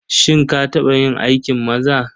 Shin ka taɓa yin aikin maza?